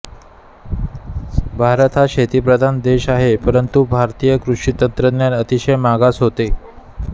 भारत हा शेतीप्रधान देश आहे परंतु भारतीय कृषी तंत्रज्ञान अतिशय मागास होते